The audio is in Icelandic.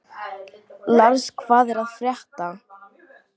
Lars, hvað er að frétta?